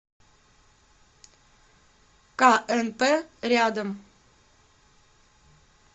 кнп рядом